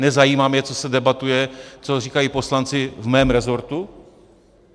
Nezajímá mě, co se debatuje, co říkají poslanci v mém resortu?